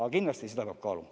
Aga kindlasti seda peab kaaluma.